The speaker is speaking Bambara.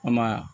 An ma ya